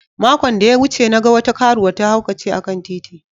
Makon da ya wuce, na gan wata karuwa ta haukace a'kan titi.